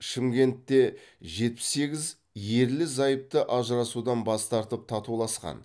шымкентте жетпіс сегіз ерлі зайыпты ажырасудан бас тартып татуласқан